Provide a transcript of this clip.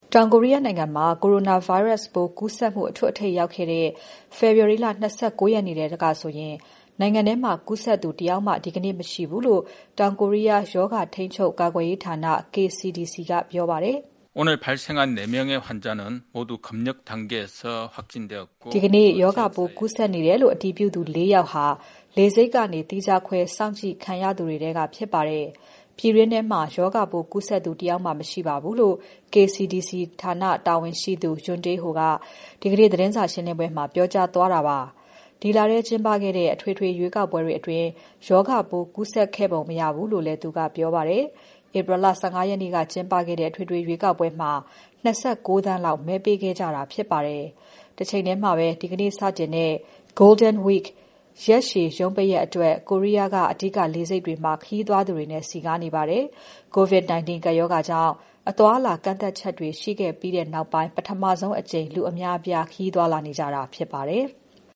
တောင်ကိုရီးယားနိုင်ငံမှာ Coronavirus ပိုးကူးစက်မှု အထွဋ်အထိပ်ကိုရောက်ခဲ့တဲ့ ဖေဖော်ဝါရီ ၂၉ ရက်ထဲကဆိုရင် ဒီနေ့ဓါတ်ခွဲစမ်းသပ်မှုရလဒ်တွေအရ (ပြည်တွင်း) ကူးစက်သူ အသစ်တယောက်မှထပ်မတွေ့ရဘူးလို့ တောင်ကိုရီးယားရောဂါ ထိန်းချုပ် ကာကွယ်ရေးဌာန KCDC ကပြောပါတယ်။ ဒီနေ့ ရောဂါပိုးကူးစက်နေတယ်လို့ အတည်ပြုသူ ၄ ယောက်ဟာ လေဆိပ်ကနေ သီးခြားခွဲစောင့်ကြည့်ခံရသူတွေထဲက ဖြစ်ပါတယ်။ ပြည်တွင်းထဲမှာ ရောဂါပိုးကူးစက်သူ တယောက်မှ မရှိပါဘူးလို့ KCDC ဌာနတာဝန်ရှိသူ ယွန်းတေးဟိုက ဒီနေ့သတင်းစာရှင်းပွဲမှာ ပြောကြားသွားတာဖြစ်ပါတယ်။ ဒီလထဲကျင်းပခဲ့တဲ့ အထွေထွေ ရွေးကောက်ပွဲအတွင်း ရောဂါပိုးကူးစက်ခဲ့ပုံမရဘူးလို့လည်း ပြောကြားသွားပါတယ်။ ဧပြီလ ၁၅ ရက်နေ့က ကျင်းပခဲ့တဲ့ အထွေထွေရွေးကောက်ပွဲမှာ ၂၉သန်းလောက် မဲပေးခဲ့ကြတာဖြစ်ပါတယ်။ တချိန်ထဲမှာပဲ ဒီကနေ့ စတင်တဲ့ Golden Week ရက်ရှည် ရုံးပိတ်ရက်အတွက် ကိုရီးယားက အဓိက လေဆိပ်တွေမှာ ခရီးသွားသူတွေနဲ့ စည်ကားနေပါတယ်။ COVID-19 ကပ်ရောဂါကြောင့် အသွားအလာကန့်သတ်ချက်တွေ ရှိခဲ့ပြီးနောက်ပိုင်း ပထမဆုံးအကြိမ် လူအများအပြား ခရီးသွားလာနေကြတာဖြစ်ပါတယ်။